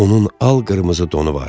Onun al-qırmızı donu vardı.